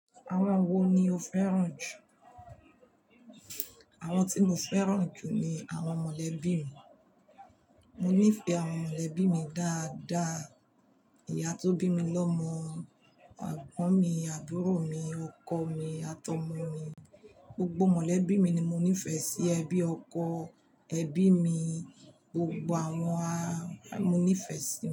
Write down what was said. Àwọn wo ni o fẹ́ràn jù? Àwọn tí mo fẹ́ràn jù ni àwọn mọ̀lẹ́bí mi. Mo nífẹ̀ẹ́ àwọn mọ̀lẹ́bí mi dáadáa. Ìyá tó bí mi lọ́mọ, egbọ̀ń mi, àbúrò mi, ọkọ mi àtọ̀ ọmọ mi. Gbogbo mọ̀lẹ́bí mi ni mo nífẹ̀ẹ́ sí. Ẹbí ọkọ, ẹbí mi, gbogbo àwọn a-- mo nífẹ̀ẹ́ sí.